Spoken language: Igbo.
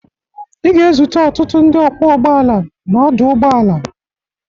Ị ga-ezute ọtụtụ ndị ọkwọ ụgbọala n'ọdụ ụgbọala.